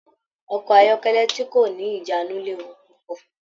Ọkọ ayọkẹlẹ ti ko ni ijanu léwu púpọ̀.